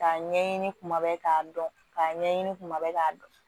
K'a ɲɛɲini kuma bɛɛ k'a dɔn k'a ɲɛɲini kuma bɛɛ k'a dɔn